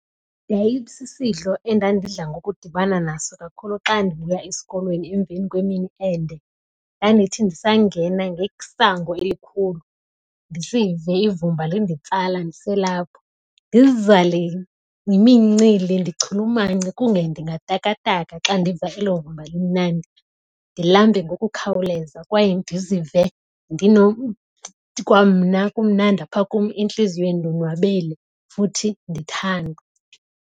Yayisisidlo endandidla ngokudibana naso kakhulu xa ndibuya esikolweni emveni kwemini ende. Ndandithi ndisangena ngesango elikhulu ndisive ivumba linditsala ndiselapho. Ndizale yimincili ndichulumance kunge ndingatakata xa ndiva elo vumba limnandi. Ndilambe ngokukhawuleza kwaye ndizive kwamna kumnandi apha kum entliziyweni ndonwabele futhi ndithandwa.